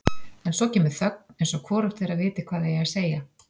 En svo kemur þögn eins og hvorugt þeirra viti hvað eigi að segja.